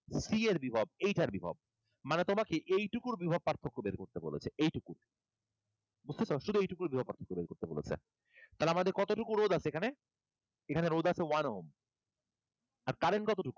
C এর বিভব এইটার বিভব। মানে তোমাকে এইটুকুর বিভব পার্থক্য বের করতে বলেছে। এইটুকু, বুঝতেসো? শুধু এইটুকুর বিভব পার্থক্য বের করতে বলেছে। তাহলে আমরা কতটুকু রোধ আছে এখানে? এখানে রোধ আছে আর current কতটুকু one Ohm